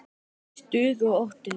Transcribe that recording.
Stuð og óstuð.